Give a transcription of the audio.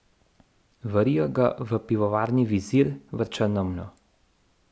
Varijo ga v pivovarni Vizir v Črnomlju.